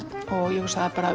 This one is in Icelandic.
ég hugsa bara